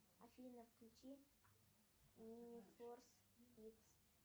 афина включи мини форс икс